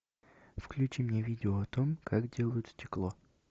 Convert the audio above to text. включи мне видео о том как делают стекло